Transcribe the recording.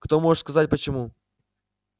кто может сказать почему